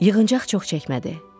Yığıncaq çox çəkmədi.